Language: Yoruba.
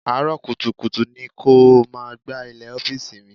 Àárọ̀ kùtùkùtù ni kó o máa gbá ilẹ̀ ọ́fíìsì mi.